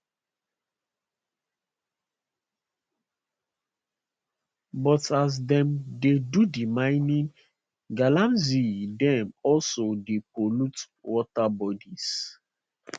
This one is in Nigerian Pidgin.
but as dem dey do di mining galamsey dem also dey pollute water bodies